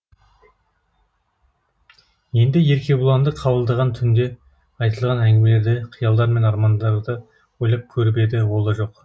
енді еркебұланды қабылдаған түнде айтылған әңгімелерді қиялдар мен армандарды ойлап көріп еді ол да жоқ